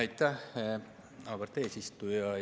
Aitäh, auväärt eesistuja!